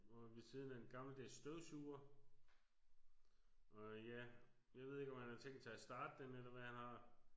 Og ved siden af en gammeldags støvsuger og ja jeg ved ikke om han har tænkt sig at starte den eller hvad han har